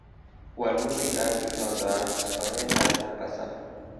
walutik ab itondoab soetab mombasa